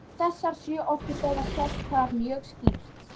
Þessar sjö orkustöðvar sjást þar mjög skýrt.